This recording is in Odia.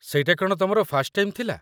ସେଇଟା କ'ଣ ତମର ଫାର୍ଷ୍ଟ ଟାଇମ୍ ଥିଲା?